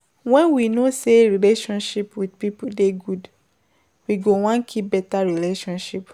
when we know sey relationship with pipo dey good, we go wan keep better relationship